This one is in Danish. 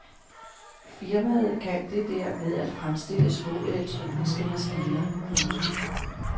Firmaet kan det der med at fremstille små elektroniske maskiner. punktum